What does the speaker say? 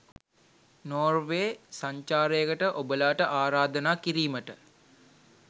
Norway සංචාරයකට ඔබලාට ආරාධනා කිරීමට